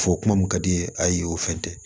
Fɔ kuma min ka d'i ye ayi o fɛn tɛ